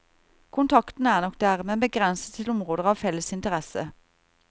Kontakten er nok der, men begrenset til områder av felles interesse.